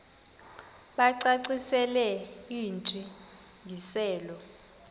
bacacisele intsi ngiselo